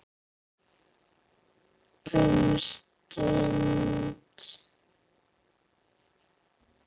Um stund.